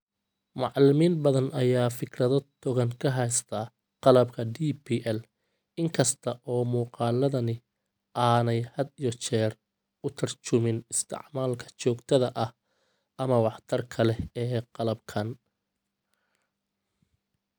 Macallimiin badan ayaa fikrado togan ka haysta qalabka DPL, in kasta oo muuqaladani aanay had iyo jeer u tarjumin isticmaalka joogtada ah ama waxtarka leh ee qalabkan.